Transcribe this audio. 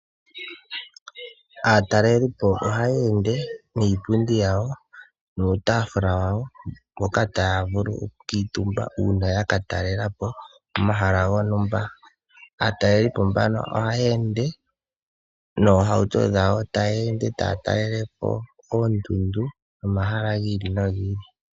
Aatalelipo ohaya ende niipundi yawo nuutaafula wawo mpoka taya vulu okukuutumba uuna ya ka talela po omahala gontumba. Aatalelipo mbano ohaya ende noohauto dhawo taya ende taya talele po oondundu nomahala gi ili nogi ili.